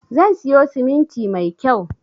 Zan siyo siminti mai kyau